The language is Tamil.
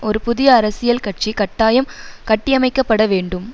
ஒரு புதிய அரசியல் கட்சி கட்டாயம் கட்டியமைக்கப்பட வேண்டும்